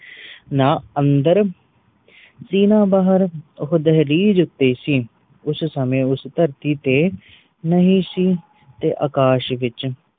ਨਾ ਅੰਦਰ ਸੀ ਨਾ ਬਹਾਰ ਓ ਦਹਿਲੀਜ ਉਤੇ ਸੀ ਉਸ ਸਮੇ ਉਸ ਧਰਤੀ ਤੇ ਨਹੀਂ ਸੀ ਤੇ ਅਕਾਸ਼ ਵਿਚ